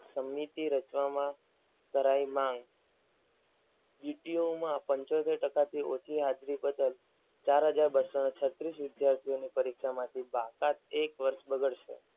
સમિતિ રચવામાં કરાવી માંગ. DTO માં પંચોતેર ટકા થી ઓછી હાજરી બદલ બેટલીસો ને છત્રીસ વિદ્યાર્થીઓને પરીક્ષામાં થી બાકાત. એક વર્ષ